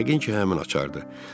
Yəqin ki, həmin açardı.